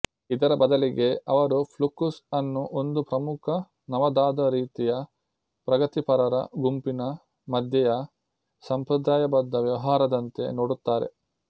ಇದರ ಬದಲಿಗೆ ಅವರು ಫ್ಲುಕ್ಸುಸ್ ಅನ್ನು ಒಂದು ಪ್ರಮುಖ ನವದಾದಾ ರೀತಿಯ ಪ್ರಗತಿಪರರ ಗುಂಪಿನ ಮಧ್ಯೆಯ ಸಂಪ್ರದಾಯಬದ್ಧ ವ್ಯವಹಾರದಂತೆ ನೋಡುತ್ತಾರೆ